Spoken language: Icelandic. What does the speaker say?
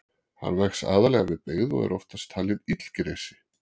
Hann vex aðallega við byggð og er oftast talinn illgresi.